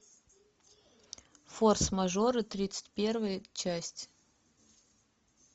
форс мажоры тридцать первая часть